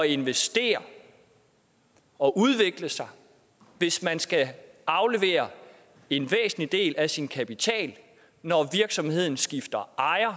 investere og udvikle sig hvis man skal aflevere en væsentlig del af sin kapital når virksomheden skifter ejer og